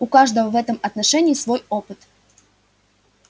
у каждого в этом отношении свой опыт